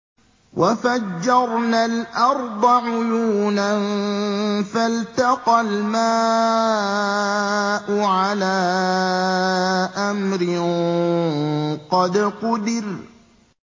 وَفَجَّرْنَا الْأَرْضَ عُيُونًا فَالْتَقَى الْمَاءُ عَلَىٰ أَمْرٍ قَدْ قُدِرَ